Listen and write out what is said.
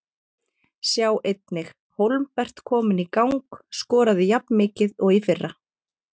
Sjá einnig: Hólmbert kominn í gang- Skorað jafnmikið og í fyrra